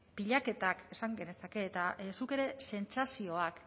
pilaketak esan genezake eta zuk ere sentsazioak